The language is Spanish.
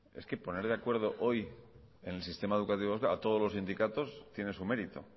es que poner de acuerdo hoy en el sistema educativo a todos los sindicatos tiene su mérito